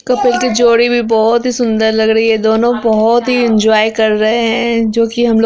couple कि जोड़ी भी बोहोत ही सुंदर लग रही है दोनों बोहोत ही इन्जॉय कर रहे हैं जो कि हमलोग--